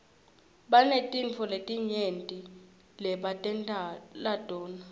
banetintfo letinyenti lebatentela tona